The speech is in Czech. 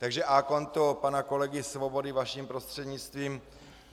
Takže a konto pana kolegy Svobody vaším prostřednictvím: